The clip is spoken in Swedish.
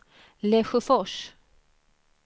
Lesjöfors